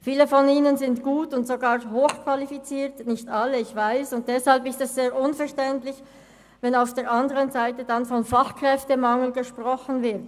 Viele von ihnen sind gut und sogar hochqualifiziert – nicht alle, ich weiss –, und deshalb ist es sehr unverständlich, wenn auf der anderen Seite von Fachkräftemangel gesprochen wird.